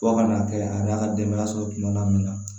Fo ka n'a kɛ a n'a ka denbaya sɔrɔ kumana min na